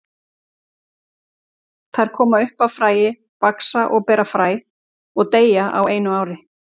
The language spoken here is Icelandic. Þær koma upp af fræi, vaxa og bera fræ og deyja á einu ári.